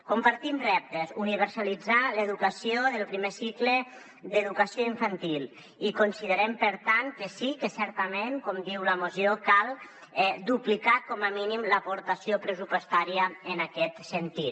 compartim reptes universalitzar l’educació del primer cicle d’educació infantil i considerem per tant que sí que certament com diu la moció cal duplicar com a mínim l’aportació pressupostària en aquest sentit